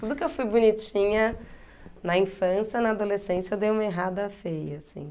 Tudo que eu fui bonitinha na infância, na adolescência eu dei uma errada feia, assim.